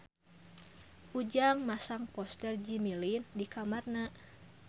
Ujang masang poster Jimmy Lin di kamarna